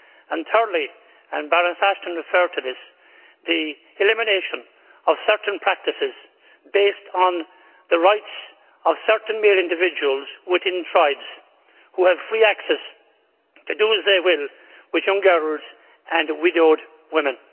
Thirdly and Baroness Ashton referred to this the elimination of certain practices based on the rights of certain mere individuals within tribes who have free access to do as they will with young girls and widowed women.